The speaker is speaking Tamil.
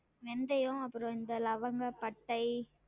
வெந்தயம் அப்றம் இந்த லவங்க, பட்டை